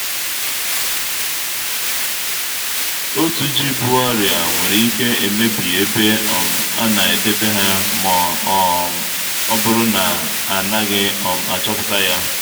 otu ji bu oria nwere ike emebi ebe um a na-edebe ha ma ọ um bụrụ na a naghị um achọpụta ya